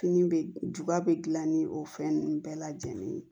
Fini bɛ juba bɛ gilan ni o fɛn ninnu bɛɛ lajɛlen ye